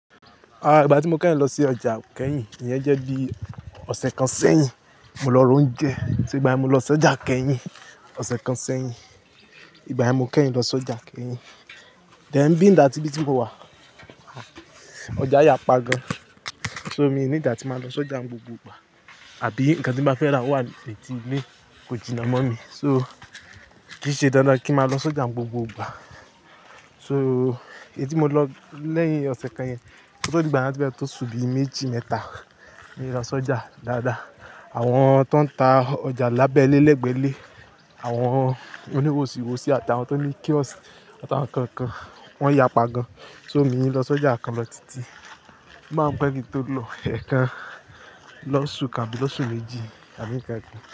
Àá, ìgbà tí mo kẹ́yìn lọ sí ọjà kẹ́yìn, ìyẹn jẹ́ bí ọ̀sẹ̀ kan sẹ́yìn. Mo lọ ra oúnjẹ. Ṣo ìgbà yen mo lọ sọ́jà kẹ́yìn ọ̀sẹ̀ kan sẹ́yìn. Ìgbà yíì mo kẹ́yìn lọ sọ́jà kẹ́yìn. Then being that íbí tí mo wà, ọjà yà pa gan. So mi need atí máa lọ sọ́jà n gbogbo ìgbà. Àbí nǹkan tí n bá fẹ́ rà wà ní ẹ̀tì ilé kò jìnnà mọ́ mi. So, kìí ṣe dandan kí n máa lọ si ojà n gbogbo ìgbà. So èyí tí mo lọ lẹ́yìn ọ̀sẹ̀ kan yẹn, ko tó dí ìgbà naa o ti fe to ó sùn bí méjì mẹ́ta ni mo lọ sọ́jà dáadáa. Àwọn tó ń ta ọjà lábẹ́lé, lẹ́gbẹ́lé, àwọn oníwòsìwòsí àti àwọn tó ní kiosk àti àwọn nǹkan kan, wọ́n yà pa gan. So mi í lọ sọ́jà kan lọ títí. O máa ń pẹ́ kin tó lọ ẹ̀ẹ̀kan lọ́ṣù kan abí lọ́ṣù méjì àbí nǹkan kan.